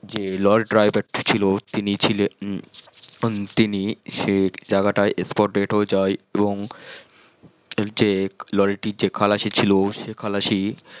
যে lorry driver টা ছিল তিনি ছিলেন এখন তিনি সেই জাগাটাই spot dead হয়ে যাই এবং যে লরি টির যে খালাসি ছিল সে খালাসি